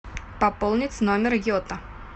пополнить номер йота